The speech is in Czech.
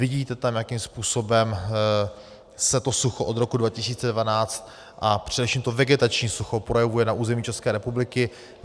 , vidíte tam, jakým způsobem se to sucho od roku 2012 a především to vegetační sucho projevuje na území České republiky.